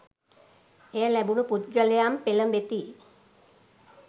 එය ලැබුණු පුද්ගලයන් පෙළෙඹෙති.